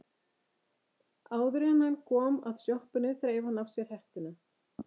Áður en hann kom að sjoppunni þreif hann af sér hettuna.